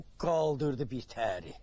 o qaldırdı birtəhəri.